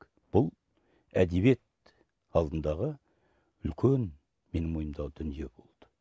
бұл әдебиет алдындағы үлкен менің мойнымдағы дүние болды